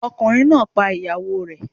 Ọkùnrin náà pa ìyàwó o rẹ̀.